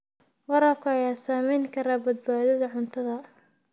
Waraabka ayaa saameyn kara badbaadada cuntada.